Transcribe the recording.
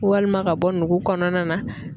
Walima ka bɔ nugu kɔnɔna na.